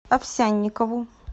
овсянникову